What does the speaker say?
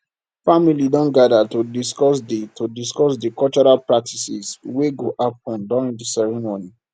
family don gather to discuss di to discuss di cultural practices wey go happen during di ceremony